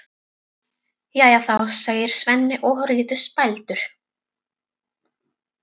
Jæja þá, segir Svenni ofurlítið spældur.